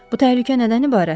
Bu təhlükə nədən ibarətdir?